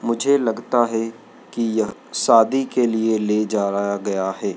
मुझे लगता हैं कि यह शादी के लिए ले जाया गया है।